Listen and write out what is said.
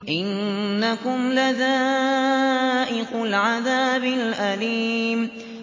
إِنَّكُمْ لَذَائِقُو الْعَذَابِ الْأَلِيمِ